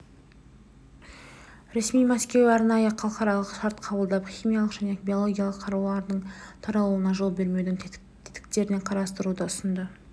ресми мәскеу арнайы халықаралық шарт қабылдап химиялық және биологиялық қарулардың таралуына жол бермеудің тетіктерін қарастыруды ұсынды